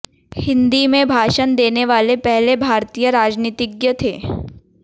हिंदी में भाषण देने वाले पहले भारतीय राजनीतिज्ञ थे